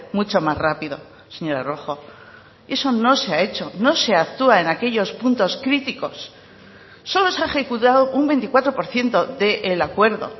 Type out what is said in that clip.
mucho más rápido señora rojo eso no se ha hecho no se actúa en aquellos puntos críticos solo se ha ejecutado un veinticuatro por ciento del acuerdo